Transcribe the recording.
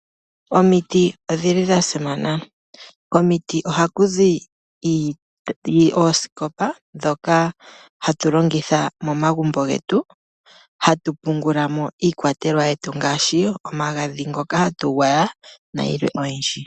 Omiti odhi li dha simana. Komiti oha ku zi oosikopa dhoka ha tu longitha momagumbo getu, moka ha tu pungula mo iikwatelwa ye tu ngaashi; omagadhi gokugwaya nayilwe oyindji.